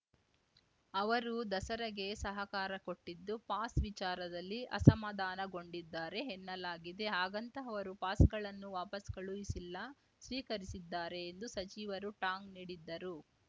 ಅವರು ದಸರೆಗೆ ಸಹಕಾರ ಕೊಟ್ಟಿದ್ದು ಪಾಸ್‌ ವಿಚಾರದಲ್ಲಿ ಅಸಮಾಧಾನಗೊಂಡಿದ್ದಾರೆ ಎನ್ನಲಾಗಿದೆ ಹಾಗಂತ ಅವರು ಪಾಸ್‌ಗಳನ್ನು ವಾಪಸ್‌ ಕಳುಹಿಸಿಲ್ಲ ಸ್ವೀಕರಿಸಿದ್ದಾರೆ ಎಂದು ಸಚಿವರು ಟಾಂಗ್‌ ನೀಡಿದ್ದರು